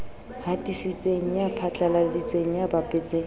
hatisitseng ya phatlaladitseng ya bapetseng